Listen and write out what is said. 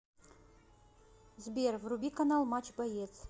сбер вруби канал матч боец